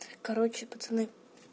короче пацаны